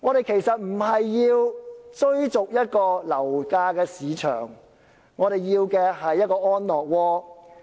其實，市民並非要追逐樓市，他們要的是一個安樂窩。